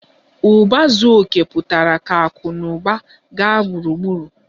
Uba zuo oke pụtara ka akụ na ụba na-aga gburugburu